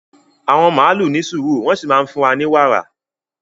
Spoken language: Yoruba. Àwọn màlúù ní sùúrù wọ́n sì máa ń fún wa ní wàrà